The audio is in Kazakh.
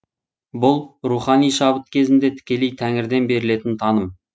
бұл рухани шабыт кезінде тікелей тәңірден берілетін таным